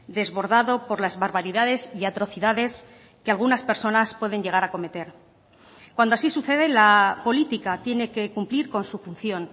desbordado por las barbaridades y atrocidades que algunas personas pueden llegar a cometer cuando así sucede la política tiene que cumplir con su función